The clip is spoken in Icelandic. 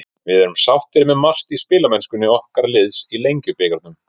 Við erum sáttir með margt í spilamennsku okkar liðs í Lengjubikarnum.